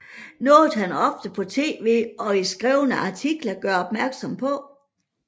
Noget han ofte på TV og i skrevne artikler gør opmærksom på